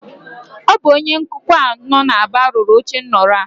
Ọ bụ onye nkụkwa a nọ n'Aba rụrụ ochenrọ a